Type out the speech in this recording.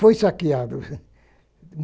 Foi saqueado.